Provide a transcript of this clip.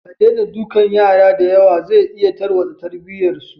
Ka daina dukan yara diyawa zai iya tarwatsa tarbiyyar su.